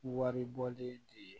Waribɔlen de ye